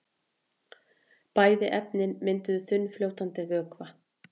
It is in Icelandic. Bæði efnin mynda þunnfljótandi vökva.